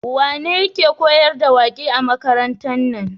Wane yake koyar da waƙe a makarantar nan?